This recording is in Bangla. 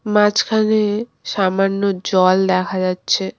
মাঝখানে সামান্য জল দেখা যাচ্ছে।